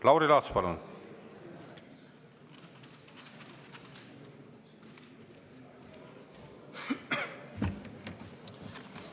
Lauri Laats, palun!